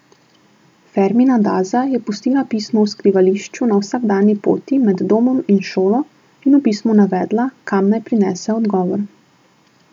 Fermina Daza je pustila pismo v skrivališču na vsakdanji poti med domom in šolo in v pismu navedla, kam naj prinese odgovor.